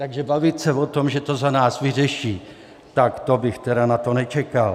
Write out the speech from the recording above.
Takže bavit se o tom, že to za nás vyřeší, tak to bych tedy na to nečekal.